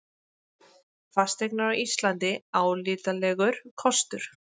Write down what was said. Fasteignir á Íslandi álitlegur kostur